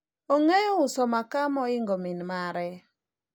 ong'eyo uso makaa mohingo min mare